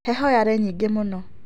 Heho yarĩ nyingĩ mũno.